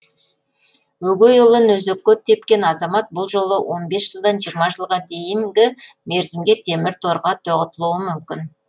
өгей ұлын өзекке тепкен азамат бұл жолы он бес жылдан жиырма жылға дейінгі мерзімге темір торға тоғытылуы мүмкін